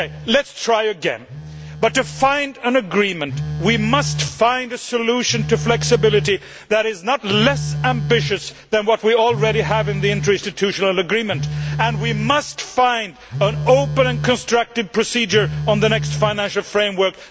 Let us try again to find an agreement, but we must find a solution to flexibility that is not less ambitious than what we already have in the interinstitutional agreement. We must find an open and constructive procedure on the next financial framework.